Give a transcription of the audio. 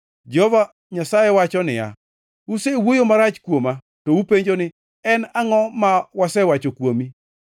Jehova Nyasaye wacho niya, “Usewuoyo marach kuoma. “To upenjo ni, ‘En angʼo ma wasewacho kuomi?’